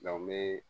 n bɛ